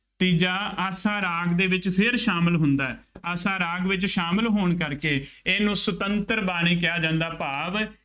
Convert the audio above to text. ਤੀਜਾ ਆਸਾ ਰਾਗ ਦੇ ਵਿੱਚ ਫੇਰ ਸ਼ਾਮਿਲ ਹੁੰਦਾ ਹੈ। ਆਸਾ ਰਾਗ ਵਿੱਚ ਸ਼ਾਮਿਲ ਹੋਣ ਕਰਕੇ ਇਹਨੂੰ ਸੁਤੰਤਰ ਬਾਣੀ ਕਿਹਾ ਜਾਂਦਾ ਭਾਵ